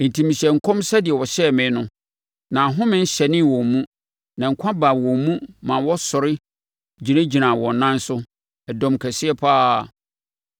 Enti mehyɛɛ nkɔm sɛdeɛ ɔhyɛɛ me no, na ahome hyɛnee wɔn mu; na nkwa baa wɔn mu ma wɔsɔre gyinagyinaa wɔn nan so, ɛdɔm kɛseɛ pa ara.